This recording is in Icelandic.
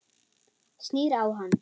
Snýr á hann.